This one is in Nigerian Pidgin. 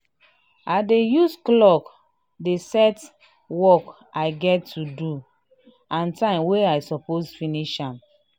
i dey use colour day set work i get to do and time wey i suppose finish am.